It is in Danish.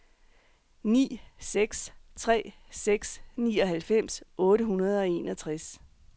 ni seks tre seks nioghalvfems otte hundrede og enogtres